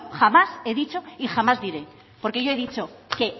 jamás he dicho y jamás diré porque yo he dicho que